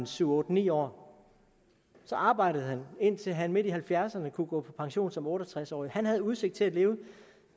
syv otte ni år så arbejdede han indtil han midt i nitten halvfjerdserne kunne gå på pension som otte og tres årig han havde udsigt til at leve